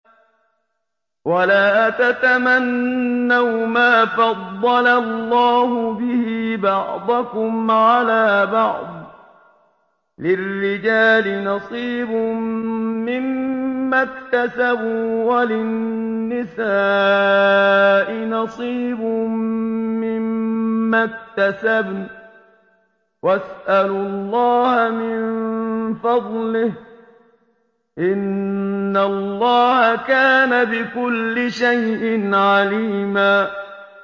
وَلَا تَتَمَنَّوْا مَا فَضَّلَ اللَّهُ بِهِ بَعْضَكُمْ عَلَىٰ بَعْضٍ ۚ لِّلرِّجَالِ نَصِيبٌ مِّمَّا اكْتَسَبُوا ۖ وَلِلنِّسَاءِ نَصِيبٌ مِّمَّا اكْتَسَبْنَ ۚ وَاسْأَلُوا اللَّهَ مِن فَضْلِهِ ۗ إِنَّ اللَّهَ كَانَ بِكُلِّ شَيْءٍ عَلِيمًا